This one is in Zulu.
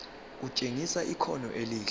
kutshengisa ikhono elihle